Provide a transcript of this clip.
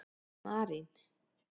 Marín